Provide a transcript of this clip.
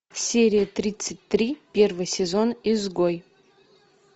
серия тридцать три первый сезон изгой